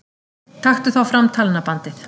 Taktu þá fram talnabandið.